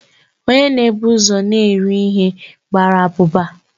Onye na ebu ụzọ n'eri ihe gbara abụba